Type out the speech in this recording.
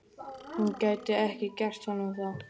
Hún gæti ekki gert honum það.